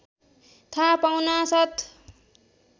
थाहा पाउनासाथ